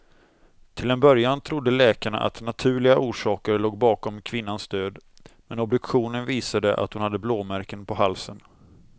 Till en början trodde läkarna att naturliga orsaker låg bakom kvinnans död, men obduktionen visade att hon hade blåmärken på halsen.